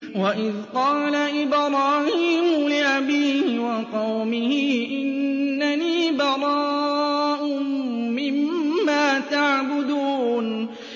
وَإِذْ قَالَ إِبْرَاهِيمُ لِأَبِيهِ وَقَوْمِهِ إِنَّنِي بَرَاءٌ مِّمَّا تَعْبُدُونَ